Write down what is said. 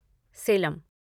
Salem